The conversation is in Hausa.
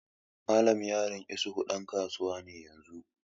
Yaron Mallam isuhu ɗan kasuwa ne yanzun.